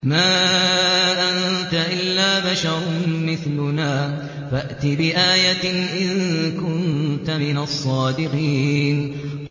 مَا أَنتَ إِلَّا بَشَرٌ مِّثْلُنَا فَأْتِ بِآيَةٍ إِن كُنتَ مِنَ الصَّادِقِينَ